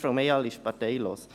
Frau Mayhall ist parteilos.